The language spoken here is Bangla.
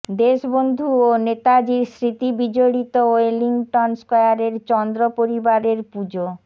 দেশবন্ধু ও নেতাজির স্মৃতি বিজড়িত ওয়েলিংটন স্কোয়ারের চন্দ্র পরিবারের পুজো